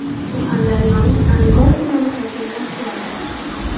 Surxondaryoning Angor tumani hokimi o‘zgardi.